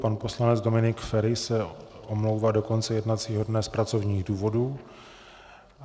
Pan poslanec Dominik Feri se omlouvá do konce jednacího dne z pracovních důvodů.